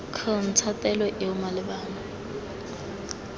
c ntsha taelo eo malebana